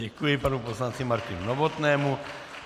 Děkuji panu poslanci Martinu Novotnému.